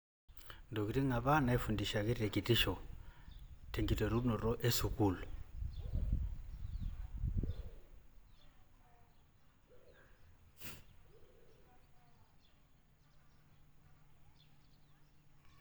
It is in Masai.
Intokitin apa naisundishaki te kitisho tenkiterunoto esukuul.